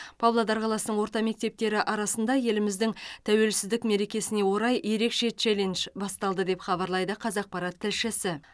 павлодар қаласының орта мектептері арасында еліміздің тәуелсіздік мерекесіне орай ерекше челлендж басталды деп хабарлайды қазақпарат тілшісі